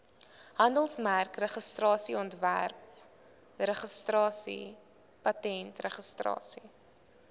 handelsmerkregistrasie ontwerpregistrasie patentregistrasie